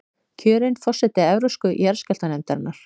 Kjörin forseti Evrópsku jarðskjálftanefndarinnar